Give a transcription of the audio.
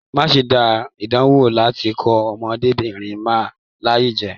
Má ṣe danwo láti kó ọmọdébinrin náà láyà jẹ!